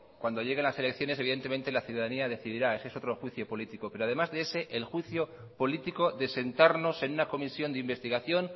cuando lleguen las elecciones evidentemente la ciudadanía decidirá eso es otro juicio político pero además de ese el juicio político de sentarnos en una comisión de investigación